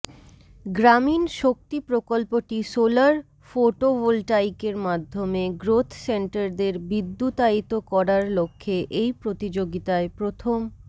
গ্রামীণ শক্তি প্রকল্পটি সোলার ফোটোভোলটাইকের মাধ্যমে গ্রোথসেন্টারদের বিদ্যুতায়িত করার লক্ষ্যে এই প্রতিযোগিতায় প্রথম